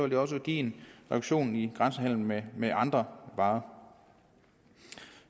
det også give en reduktion i grænsehandel med med andre varer